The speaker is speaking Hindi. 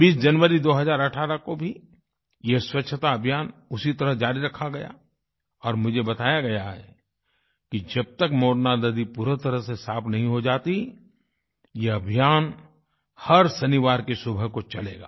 20 जनवरी 2018 को भी ये स्वच्छताअभियान उसी तरह जारी रखा गया और मुझे बताया गया है कि जब तक मोरना नदी पूरी तरह से साफ़ नही हो जाती ये अभियान हर शनिवार की सुबह को चलेगा